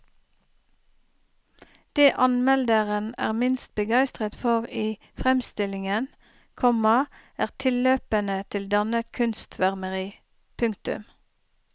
Det anmelderen er minst begeistret for i fremstillingen, komma er tilløpene til dannet kunstsvermeri. punktum